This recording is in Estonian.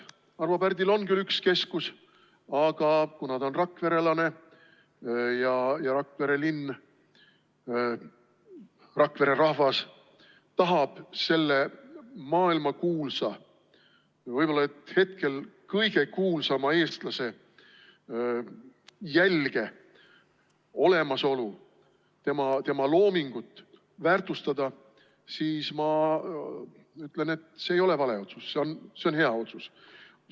Arvo Pärdil on küll üks keskus, aga kuna ta on rakverelane ja Rakvere linn, Rakvere rahvas tahab selle maailmakuulsa, võib-olla et hetkel kõige kuulsama eestlase jälge, olemasolu ja tema loomingut väärtustada, siis ma ütlen, et see ei ole vale otsus, see on hea otsus.